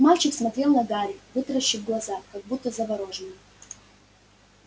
мальчик смотрел на гарри вытаращив глаза как будто заворожённый